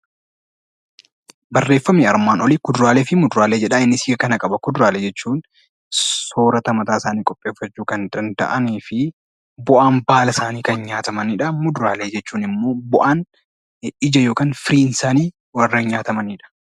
Barreeffamni armaan olii kuduraalee fi muduraalee jedha. Innis hiika kana qaba. Kuduraalee jechuun soorata mataasaanii qopheeffachuu kan danda'anii fi bu'aan baala isaanii kan nyaatamanidha. Muduraaleen immoo bu'aan, ija yookaan firiin isaanii warreen nyaatamanidha.